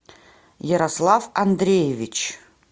ярослав андреевич